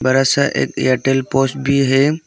बड़ा सा एक एयरटेल पोस्ट भी है।